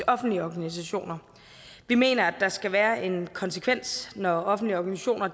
offentlige og organisationer vi mener at der skal være en konsekvens når offentlige organisationer